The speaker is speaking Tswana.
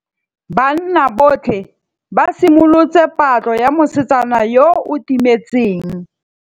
Banna botlhê ba simolotse patlô ya mosetsana yo o timetseng.